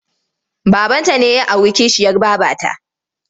Babanta ne ya auri kishiyar babata.